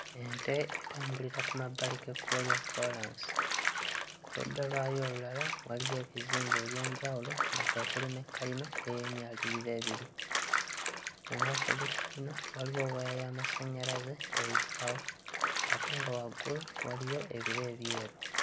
Ente etambulira ku mabbali g'ekkubo lya koolansi, ku ludda lwayo olulala waliyo ebizimbe eby'enjawulo nga kwe kuli ne kkalina ey'emyaliriro ebiri. Mu maaso g'ekkalina waliwo waya y'amasannyalaze eyitirawo ate nga waggulu waliyo ebire ebyeru.